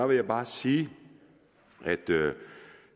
vil jeg bare sige at